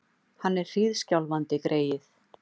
Hann er hríðskjálfandi, greyið!